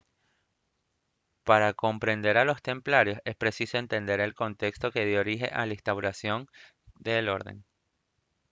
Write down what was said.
para comprender a los templarios es preciso entender el contexto que dio origen a la instauración de la orden